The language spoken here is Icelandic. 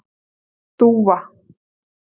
Dúfa